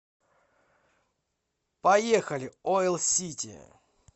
поехали оил сити